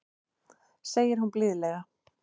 segir hún blíðlega.